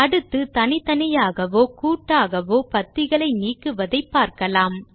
அடுத்து தனித்தனியாகவோ கூட்டாகவோ பத்திகளை நீக்குவதை பார்க்கலாம்